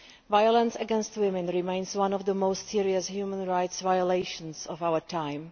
Violence against women remains one of the most serious human rights violations of our time.